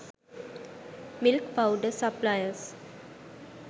milk powder suppliers